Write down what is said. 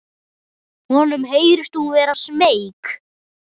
Honum heyrist hún vera smeyk.